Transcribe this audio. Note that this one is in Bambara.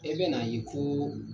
E bɛ n'a ye ko